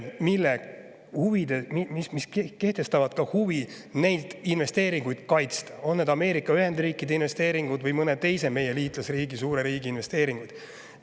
See ka huvi neid investeeringuid kaitsta, on need Ameerika Ühendriikide investeeringud või mõne teise meie suure liitlasriigi investeeringud.